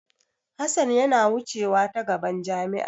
Hassan yana wucew ta gaban jami'a.